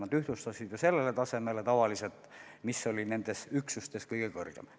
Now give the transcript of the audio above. Need ühtlustati enamasti tasemele, mis oli nendes üksustes kõige kõrgem.